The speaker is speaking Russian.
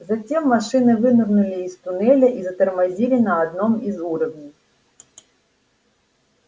затем машины вынырнули из туннеля и затормозили на одном из уровней